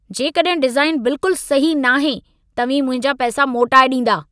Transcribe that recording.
जेकॾहिं डिज़ाइन बिल्कुल सही न आहे, तव्हीं मुंहिंजा पैसा मोटाए ॾींदा।